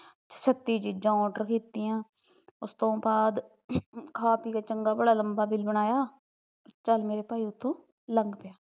ਛੱਤੀ ਚੀਜ order ਕੀਤੀਆ ਉਸਤੋਂ ਬਾਅਦ ਖਾ ਪੀ ਕੇ ਚੰਗਾ ਭਲਾ ਲਂਬਾ bill ਬਣਾਇਆ ਤੇ ਚੱਲ ਮੇਰੇ ਭਾਈ ਉੱਥੋਂ ਲੰਘ ਪਿਆ